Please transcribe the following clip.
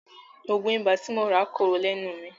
Òògùn ibà tí mo rà ń korò lẹ́nu mi.